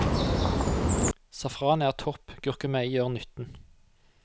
Safran er topp, gurkemeie gjør nytten.